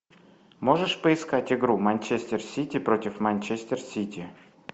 можешь поискать игру манчестер сити против манчестер сити